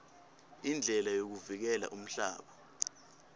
indlela yokuvikela umhlaba